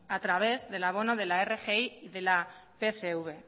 a través del abono de la rgi y de la pcv